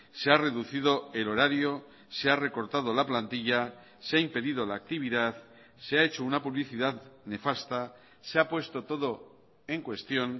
se ha reducido el horario se ha recortado la plantilla se ha impedido la actividad se ha hecho una publicidad nefasta se ha puesto todo en cuestión